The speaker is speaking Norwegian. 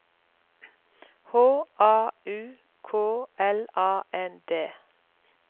H A U K L A N D